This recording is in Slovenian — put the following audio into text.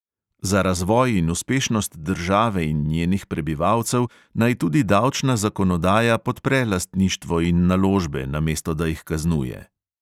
Za razvoj in uspešnost države in njenih prebivalcev naj tudi davčna zakonodaja podpre lastništvo in naložbe, namesto da jih kaznuje.